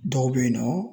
Dɔw bɛ yen nɔ